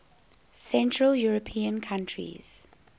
central european countries